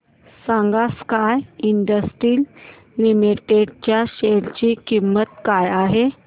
सांगा sky industries limited च्या share ची किंमत काय आहे